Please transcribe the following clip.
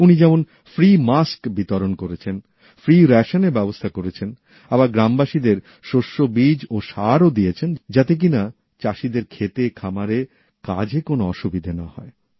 উনি যেমন বিনামূল্যে বিতরণ করেছেন নিখরচায় রেশনের ব্যবস্থা করেছেন আবার গ্রামবাসীদের শস্যবীজ ও সারও দিয়েছেনযাতে কিনা চাষীদের ক্ষেতেখামারে কাজে কোনো অসুবিধে না হয়